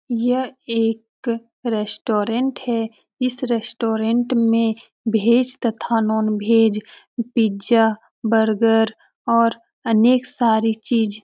यह एक रेस्टोरेंट है। इस रेस्टोरेंट मे वेज तथा नॉन वेज पिज़्ज़ा बर्गर और अनेक सारी चीज --